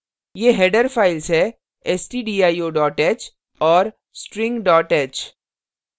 ये header files है stdio h और string h